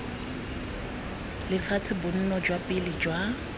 lefatshe bonno jwa pele jwa